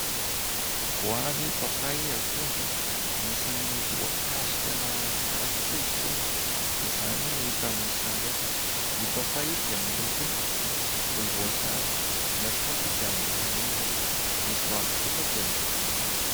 Goavy, papay, akondro. Anisan'ny voankazo tena tsara tokoa izy itony. Izany no hita amin'ny sary ireto. Ny papay dia miloko volomboasary, ny akondro dia miloko lokomena, ny goavy kosa dia miloko loko mavo.